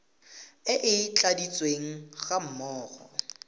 e e tladitsweng ga mmogo